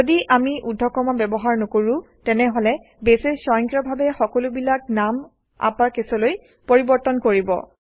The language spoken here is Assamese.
যদি আমি ঊৰ্ধ্বকমা ব্যৱহাৰ নকৰোঁ তেনেহলে বেছে স্বয়ংক্ৰিয়ভাৱে সকলোবিলাক নাম আপাৰকেছলৈ পৰিৱৰ্তন কৰিব